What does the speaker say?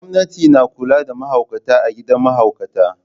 Gwamnati na kula da mahaukata a gidan mahaukata.